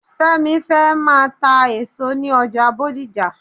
Fẹ́mi fẹ́ máa ta èso ní ọjà Bódìjà.